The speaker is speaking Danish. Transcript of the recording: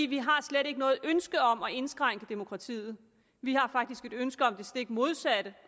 vi har slet ikke noget ønske om at indskrænke demokratiet vi har faktisk et ønske om det stik modsatte